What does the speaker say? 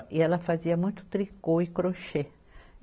E ela fazia muito tricô e crochê.